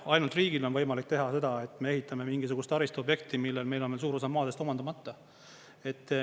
Ainult riigil on võimalik teha seda, et me ehitame mingisugust taristuobjekti, millel on suur osa maadest veel omandamata.